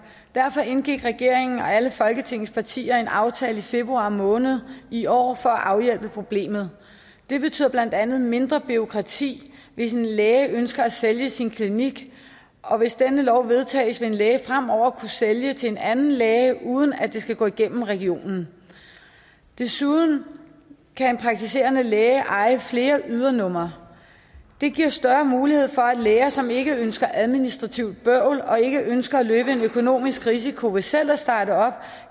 derfor indgik regeringen og alle folketingets partier en aftale i februar måned i år for at afhjælpe problemet det betyder blandt andet mindre bureaukrati hvis en læge ønsker at sælge sin klinik og hvis denne lov vedtages vil en læge fremover kunne sælge til en anden læge uden at det skal gå gennem regionen desuden kan en praktiserende læge eje flere ydernumre det giver større mulighed for at læger som ikke ønsker administrativt bøvl og ikke ønsker at løbe en økonomisk risiko ved selv at starte op